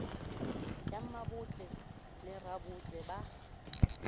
ya mmabotle le rabotle ba